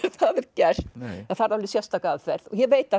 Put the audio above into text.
gert það þarf alveg sérstaka aðferð ég veit